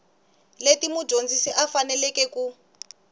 leti mudyondzi a faneleke ku